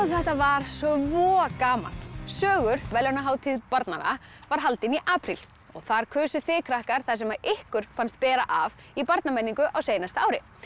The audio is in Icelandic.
þetta var svo gaman sögur verðlaunahátíð barnanna var haldin í apríl og þar kusuð þið krakkar það sem ykkur fannst bera af í barnamenningu á seinasta ári